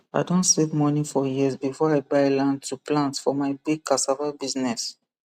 i don save money for years before i buy land to plant for my big cassava business